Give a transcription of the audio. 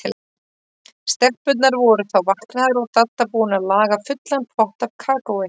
Stelpurnar voru þá vaknaðar og Dadda búin að laga fullan pott af kakói.